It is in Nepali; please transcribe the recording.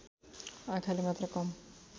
आँखाले मात्र काम